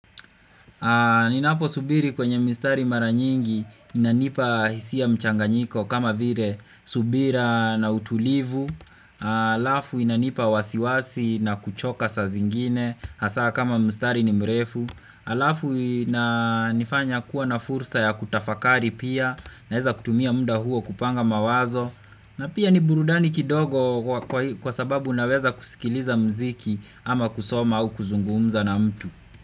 Ninapo subiri kwenye mistari mara nyingi inanipa hisia mchanganyiko kama vile subira na utulivu, alafu inanipa wasiwasi na kuchoka saa zingine hasa kama mstari ni mrefu, alafu inanifanya kuwa na fursa ya kutafakari pia naweza kutumia munda huo kupanga mawazo, na pia ni burudani kidogo kwa sababu unaweza kusikiliza mziki ama kusoma au kuzungumza na mtu.